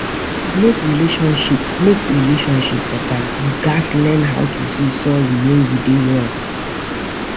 To mek relationship mek relationship beta, yu gats learn how to say sorry wen yu dey wrong.